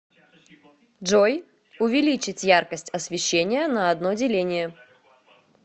джой увеличить яркость освещения на одно деление